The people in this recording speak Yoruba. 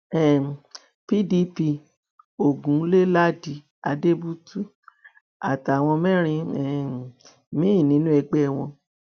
um pdp ogun lè ladi adébútú àtàwọn mẹrin um míín nínú ẹgbẹ wọn